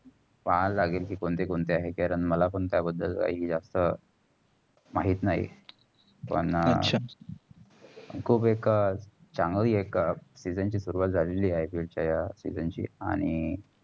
कोण कोणते आहे. मला पण त्याबदल काय जास्त माहित नाही. पण अच्छा खूप एक चांगली एक season ची सुरुवात झालेले आहे. season ची आणि